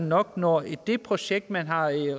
nok når det projekt man har